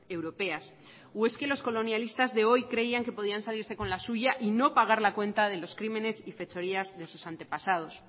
europeas o es que los colonialistas de hoy creían que podían salirse con la suya y no pagar la cuenta de los crímenes y fechorías de sus antepasados